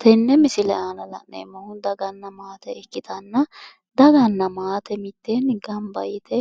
tenne misile aana la'neemmohu daganna maate ikkitanna daganna maate mitteenni gamba yite